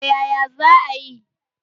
Toh yaya zaayi?